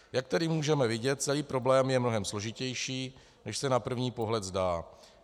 Jak tedy můžeme vidět, celý problém je mnohem složitější, než se na první pohled zdá.